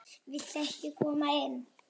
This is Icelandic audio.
Viltu ekki koma inn?